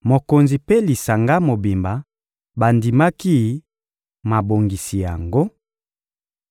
Mokonzi mpe lisanga mobimba bandimaki mabongisi yango,